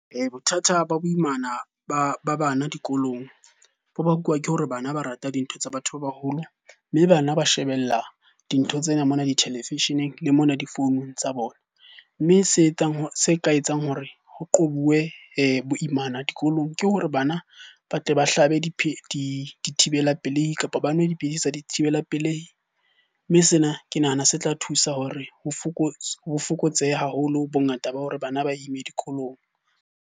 Bothata ba boimana ba bana dikolong bo bakuwa ke hore bana ba rata dintho tsa batho ba baholo. Mme bana ba shebella dintho tsena mona ditelevisheneng le mona difounung tsa bona. Mme se ka etsang hore ho qobuwe boimana dikolong ke hore bana ba tle ba hlabe dithibela pelehi, kapa ba nwe dipidisi tsa dithibela pelehi. Mme sena ke nahana se tla thusa hore ho fokotsehe haholo bongata ba hore bana ba ime dikolong.